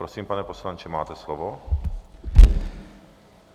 Prosím, pane poslanče, máte slovo.